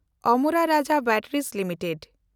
ᱟᱢᱮᱱᱰᱟ ᱨᱟᱡᱟ ᱵᱮᱴᱮᱱᱰᱤᱡᱽ ᱞᱤᱢᱤᱴᱮᱰ